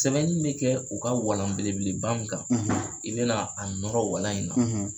Sɛbɛnni bɛ kɛ u ka walan belebeleb mun kan i bɛ na a nɔrɔ walalan in na